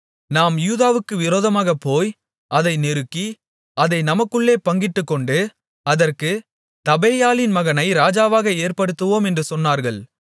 நாம் யூதாவுக்கு விரோதமாகப்போய் அதை நெருக்கி அதை நமக்குள்ளே பங்கிட்டுக்கொண்டு அதற்குத் தபேயாலின் மகனை ராஜாவாக ஏற்படுத்துவோம் என்று சொன்னார்கள்